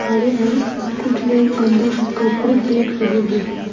कुछ लोग अंदर कपड़े देख रहे हैं।